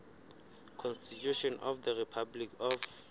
constitution of the republic of